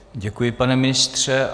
Děkuji, pane ministře.